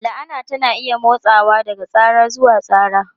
La'ana tana iya motsawa daga tsara zuwa tsara.